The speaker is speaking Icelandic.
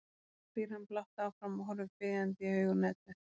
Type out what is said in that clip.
spyr hann blátt áfram og horfir biðjandi í augun á Eddu.